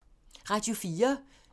Radio 4